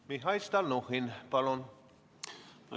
Mihhail Stalnuhhin, palun!